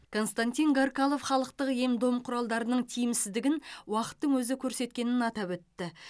константин гаркалов халықтық ем дом құралдардың тиімсіздігін уақыттың өзі көрсеткенін атап өтті